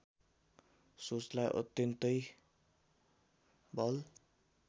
सोचलाई अत्यन्तै बल